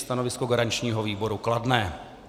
Stanovisko garančního výboru kladné.